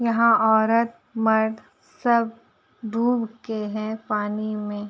यहां औरत मर्द सब डूब के है पानी में।